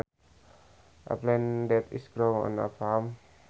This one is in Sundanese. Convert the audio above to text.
A plant that is grown on a farm